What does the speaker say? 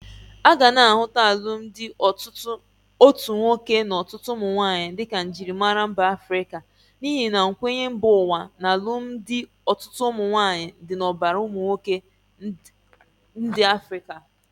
Aga na ahụta alụmdị otu nwoke na ọtụtụ ụmụnwaanyi di ka njịrịmara mba Afrịka n'ihi nkwenye mba ụwa na alumdi ọtụtụ ụmụnwaanyị di n'ọbara ụmụnwoke ndi Afrịka.